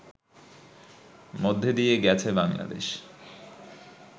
মধ্যে দিয়ে গেছে বাংলাদেশ